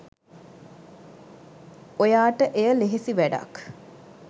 ඔයාට එය ලෙහෙසි වැඩක්